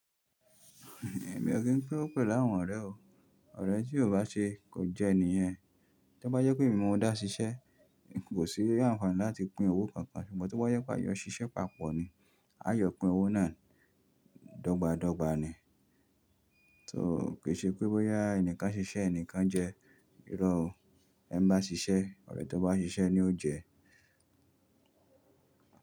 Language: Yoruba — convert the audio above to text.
Èmi ò kí n pín owó pẹ̀ lú àwọn ọ̀rẹ́ o. Ọ̀rẹ́ tí kò bá ṣe kò jẹ́ ènìyàn. Tó bá jẹ pé èmi máa n dá ṣiṣẹ́, kò sí írú awon kàn láti pín owó kankan ṣùgbọ́n tí bá yẹ pé a yọ ṣiṣẹ́ papọ̀ ni, a jọ pín owó náà dọ́gba dọ́gba ni. Kò ṣe pé bóyá ẹnìkan ṣiṣẹ́ ẹnìkan jẹ, ìró o. Ẹni bá ṣiṣẹ́, ọ̀rẹ́ tó bá ṣiṣẹ́ ni ó jẹ.